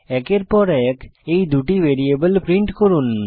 একের পর এক এই 2 টি ভ্যারিয়েবল প্রিন্ট করুন